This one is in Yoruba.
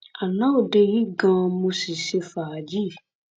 àná òde yìí gan-an mo sì ṣe fàájì